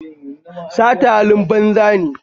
Sata halin banza ne